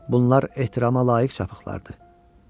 Bunlar ehtirama layiq çapıqlardır.